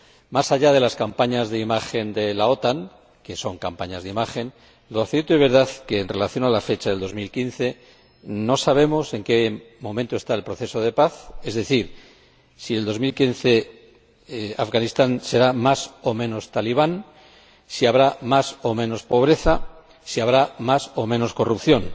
Mas allá de las campañas de imagen de la OTAN, que son campañas de imagen, lo cierto y verdad es que, en relación con las fechas de 2015, no sabemos en qué momento está el proceso de paz, es decir, si en 2015 Afganistán será más o menos talibán, si habrá más o menos pobreza, si habrá más o menos corrupción.